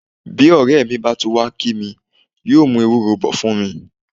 Bí ọ̀rẹ́ mi bá tún wá kí mi, yóò mú ewúro bọ̀ fún mi.